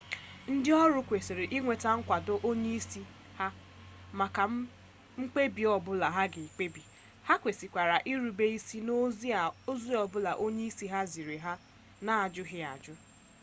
ndi oru kwesiri inweta nkwado onye isi ha maka mkpebi obula ha ga ekpebi ha kwesikwara irube isi n'ozi o bula onye isi ha ziri ha n'ajughi ajuju